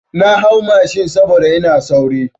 Na hau mashin yau saboda ina sauri.